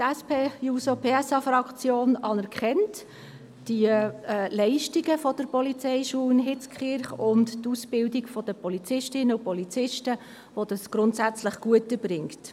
Die SP-JUSO-PSA-Fraktion anerkennt die Leistungen der IPH, das heisst, dass die diese die Ausbildung der Polizistinnen und Polizisten grundsätzlich gut erbringt.